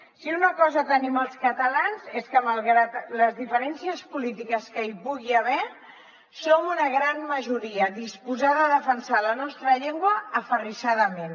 si una cosa tenim els catalans és que malgrat les diferències polítiques que hi pugui haver som una gran majoria disposada a defensar la nostra llengua aferrissadament